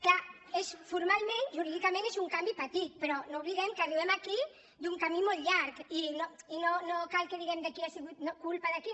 clar formalment jurídicament és un canvi petit però no oblidem que arribem aquí d’un camí molt llarg i no cal que diguem de qui ha sigut culpa de qui